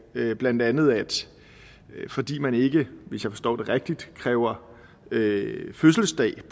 blandt andet at fordi man ikke hvis jeg forstår det rigtigt kræver fødselsdato